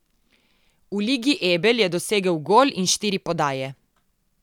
V Ligi Ebel je dosegel gol in štiri podaje.